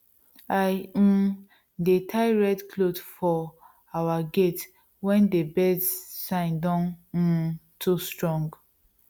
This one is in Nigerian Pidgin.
i um dey tie red cloth for our gate wen dey birds signs don um too strong